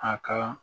A ka